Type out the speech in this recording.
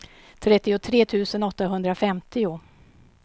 trettiotre tusen åttahundrafemtio